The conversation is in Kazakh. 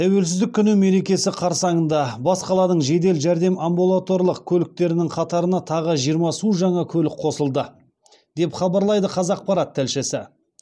тәуелсіздік күні мерекесі қарсаңында бас қаланың жедел жәрдем амбулаторлық көліктерінің қатарына тағы жиырма су жаңа көлік қосылды деп хабарлайды қазақпарат тілшісі